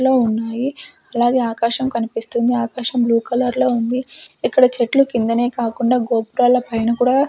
లో ఉన్నాయి అలాగే ఆకాశం కనిపిస్తుంది ఆకాశం బ్లూ కలర్లో ఉంది ఇక్కడ చెట్లు కిందనే కాకుండా గోపురాల పైన కూడా--